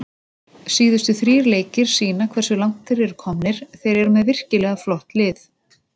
Síðustu þrír leikir sýna hversu langt þeir eru komnir, þeir eru með virkilega flott lið.